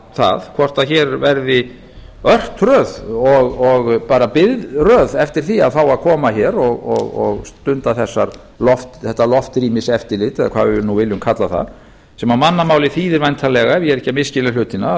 það hvort hér verði örtröð og bara biðröð eftir því að fá að koma hér og stunda þetta loftrýmiseftirlit eða hvað við nú viljum kalla það sem á mannamáli þýðir væntanlega ef ég er ekki að misskilja hlutina að